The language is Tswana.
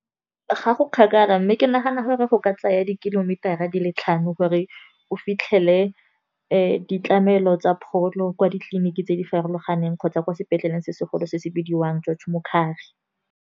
Ga go kgakala mme ke nagana gore go ka tsaya di-kilometer-a di le tlhano gore o fitlhele le ditlamelo tsa pholo, kwa ditleliniking tse di farologaneng kgotsa kwa sepetlele se se golo se se bidiwang George Mokhari.